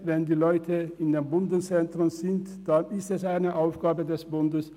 Wenn die Leute in den Bundeszentren leben, ist es eine Aufgabe des Bundes.